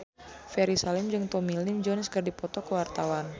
Ferry Salim jeung Tommy Lee Jones keur dipoto ku wartawan